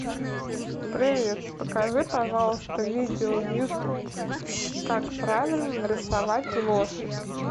привет покажи пожалуйста видео в ютуб как правильно нарисовать лошадь